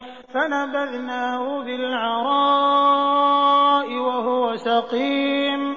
۞ فَنَبَذْنَاهُ بِالْعَرَاءِ وَهُوَ سَقِيمٌ